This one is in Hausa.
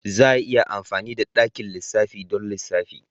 Za a iya amfani da dakin lissafi don lissafi.